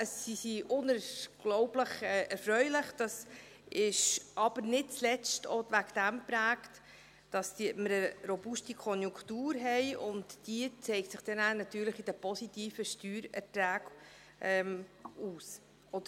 Sie sind unglaublich erfreulich, dies ist aber nicht zuletzt auch dadurch geprägt, dass wir eine robuste Konjunktur haben, und diese schlägt sich dann natürlich in den positiven Steuererträgen nieder.